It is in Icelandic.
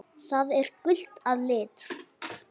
Það er gult að lit.